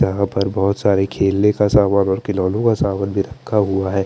यहाँ पर बोहोत सारी खेलने का समान और खिलोने का सामना भी रखा हुआ है।